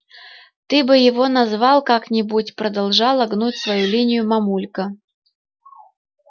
ты бы его назвал как-нибудь продолжала гнуть свою линию мамулька